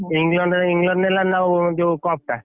England England ନେଲା ନା ଯୋଉ cup ଟା?